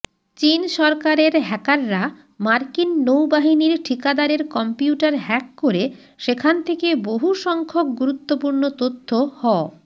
চীন সরকারের হ্যাকাররা মার্কিন নৌবাহিনীর ঠিকাদারের কম্পিউটার হ্যাক করে সেখান থেকে বহুসংখ্যক গুরুত্বপূর্ণ তথ্য হ